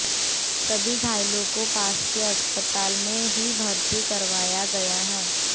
सभी घायलों को पास के अस्पताल में ही भर्ती करवाया गया है